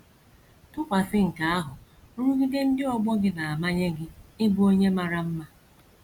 Tụkwasị na nke ahụ, nrụgide ndị ọgbọ gị na - amanye gị ịbụ onye mara mma.